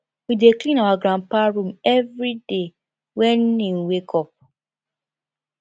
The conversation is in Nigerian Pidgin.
we dey clean our granpa room everyday wen im wake up